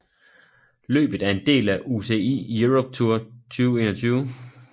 Løbet er en del af UCI Europe Tour 2021